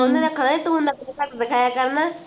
ਤੂੰ ਨਖਰੇ ਘਟ ਦਿਖਾਯਾ ਕਰਨਾ